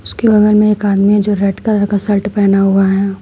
के बगल में एक आदमी जो रेड कलर का शर्ट पहना हुआ है।